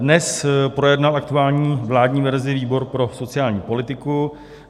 Dnes projednal aktuální vládní verzi výbor pro sociální politiku.